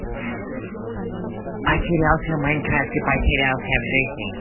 потерялся в майнкрафте потерялся в жизни